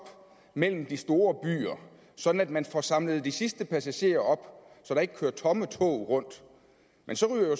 mellem de store byer sådan at man får samlet de sidste passagerer op så der ikke kører tomme tog rundt men så ryger